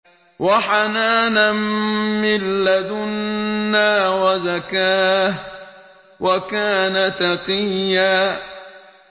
وَحَنَانًا مِّن لَّدُنَّا وَزَكَاةً ۖ وَكَانَ تَقِيًّا